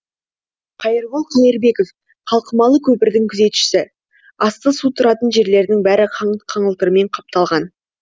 қайырбол қайырбеков қалқымалы көпірдің күзетшісі асты су тұратын жерлерінің бәрі қаңылтырмен қапталған